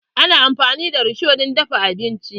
Ana amfani da risho don dafa abinci.